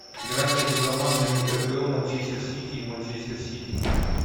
игра между командами апл манчестер сити и манчестер сити